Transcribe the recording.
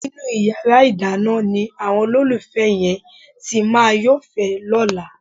Inú yàrá ìdáná ni àwọn olólùfẹ́ yẹn ti máa yófẹ̀ẹ́ lọ́la.